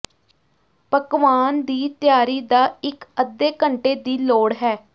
ਪਕਵਾਨ ਦੀ ਤਿਆਰੀ ਦਾ ਇੱਕ ਅੱਧੇ ਘੰਟੇ ਦੀ ਲੋੜ ਹੈ